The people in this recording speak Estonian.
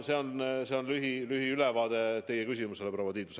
See oli lühiülevaade vastuseks teie küsimusele, proua Tiidus.